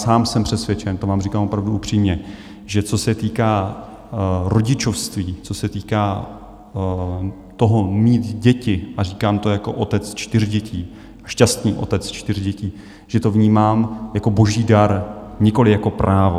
Sám jsem přesvědčen, to vám říkám opravdu upřímně, že co se týká rodičovství, co se týká toho, mít děti, a říkám to jako otec čtyř dětí, šťastný otec čtyř dětí, že to vnímám jako boží dar, nikoliv jako právo.